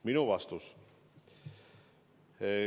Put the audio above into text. Minu vastus.